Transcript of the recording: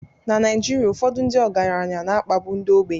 Na Naijiria, ụfọdụ ndị ọgaranya na-akpagbu ndị ogbenye